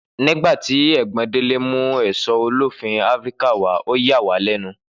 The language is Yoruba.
Nígbàtí ègbón Délé mú èso ólífì áfíríkà wàá ọ yà wàá lénu